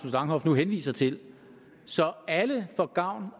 langhoff nu henviser til så alle får gavn